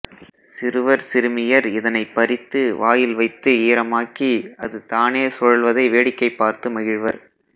சிறுவர் சிறுமியர் இதனைப் பறித்து வாயில் வைத்து ஈரமாக்கி அது தானே சுழல்வதை வேடிக்கை பார்த்து மகிழ்வர்